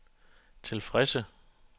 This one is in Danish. tilfredse